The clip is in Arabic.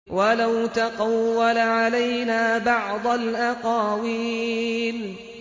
وَلَوْ تَقَوَّلَ عَلَيْنَا بَعْضَ الْأَقَاوِيلِ